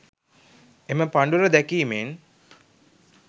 එම පඬුර දැකීමෙන්